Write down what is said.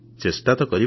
ଚେଷ୍ଟା ତ କରିବା